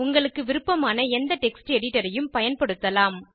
உங்களுக்கு விருப்பமான எந்த டெக்ஸ்ட் editorஐயும் பயன்படுத்தலாம்